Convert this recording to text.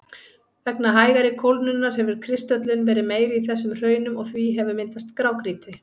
Vegna hægari kólnunar hefur kristöllun verið meiri í þessum hraunum og því hefur myndast grágrýti.